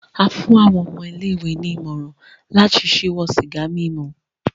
A fún àwọn ọmọ ilé-ìwé ní ìmọ̀ràn láti ṣíwọ́ sìgá mímu